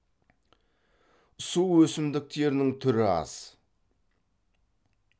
су өсімдіктерінің түрі аз